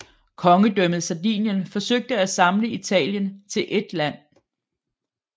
Kongedømmet Sardinien forsøgte at samle Italien til eet land